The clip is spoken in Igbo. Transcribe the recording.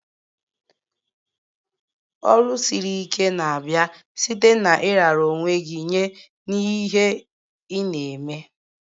Ọrụ siri ike na-abịa site na ị rara onwe gj nye n'ihe ị na-eme.